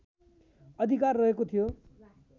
अधिकार रहेको थियो